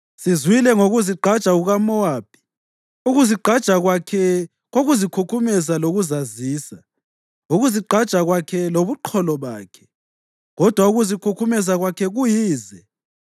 Sizwile ngokuzigqaja kukaMowabi. Ukuzigqaja kwakhe kokuzikhukhumeza lokuzazisa, ukuzigqaja kwakhe lobuqholo bakhe, kodwa ukuzikhukhumeza kwakhe kuyize.